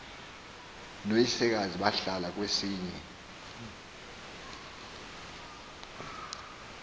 noyisekazi bahlala kwesinye